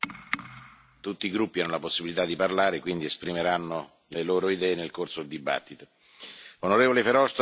Onorevoli colleghi, è inutile fare commenti, tutti i gruppi hanno la possibilità di parlare, quindi esprimeranno le loro idee nel corso del dibattito.